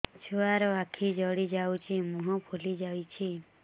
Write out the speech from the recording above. ଛୁଆର ଆଖି ଜଡ଼ି ଯାଉଛି ମୁହଁ ଫୁଲି ଯାଇଛି